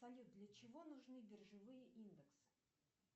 салют для чего нужны биржевые индексы